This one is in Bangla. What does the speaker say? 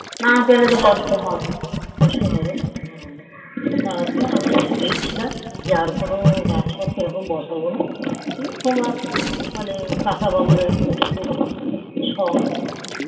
কষ্ট হবেনা হা তারপর আমরা ভেবেছিলাম যে আমরা আর কোনো এরম গাছ বোসবোনা তোমার মানে কাঁচা বুর খব শখ